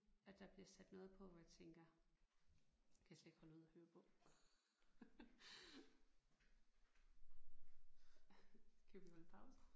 At der bliver sat noget på hvor jeg tænker kan jeg slet ikke holde ud at høre på. Skal vi holde pause?